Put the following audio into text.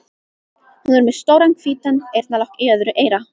Hún er með stóran hvítan eyrnalokk í öðru eyra.